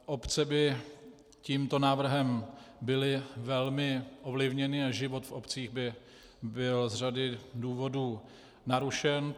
Obce by tímto návrhem byly velmi ovlivněny a život v obcích by byl z řady důvodů narušen.